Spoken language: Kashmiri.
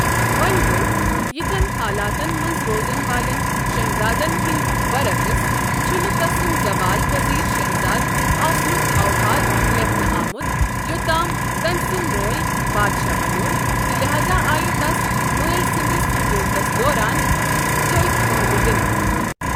وونۍ گوٚو، یِتھین حالاتن منٛز روزن والٮ۪ن شہزادن ہندِ برعقس ، چھنہٕ تسند زوال پزیر شہزادٕ آسنک اوحال لیكھنہٕ آمت یوتام تمۍ سنٛد مول بادشاہ بنیٛوو، تہٕ لِہاذا آیہ تس مٲلۍ سٕنٛدِس حكوُمتس دوران تٔھدۍ عہدٕ دِنہٕ۔